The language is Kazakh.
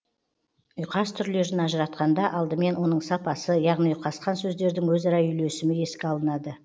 ұйқас түрлерін ажыратқанда алдымен оның сапасы яғни ұйқасқан сөздердің өзара үйлесімі еске алынады